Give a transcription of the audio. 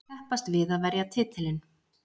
Keppast við að verja titilinn.